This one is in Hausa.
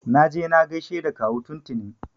Na je na gaishe da kawu tun tuni.